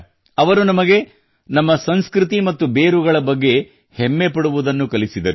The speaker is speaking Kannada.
ಅವರು ನಮಗೆ ನಮ್ಮ ಸಂಸ್ಕೃತಿ ಮತ್ತು ಬೇರುಗಳ ಬಗ್ಗೆ ಹೆಮ್ಮೆ ಪಡುವುದನ್ನು ಕಲಿಸಿದರು